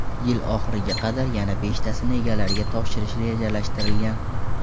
Yil oxiriga qadar yana beshtasini egalariga topshirish rejalashtirilgan.